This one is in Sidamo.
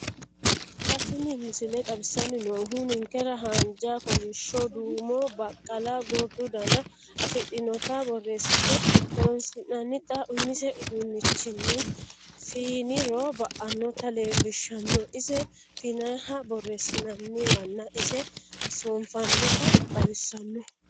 Xa tini missile xawissanni noohu ninkera haanja, kolishsho, duumo, baqqala, gordu dana afidhinota borreessite horoonsi'nannita umise uduunnichinni fiiniro ba'annota leellishshanno. Ise fiinanniha borreessi'nanniwanna ise soonfannita xawissanno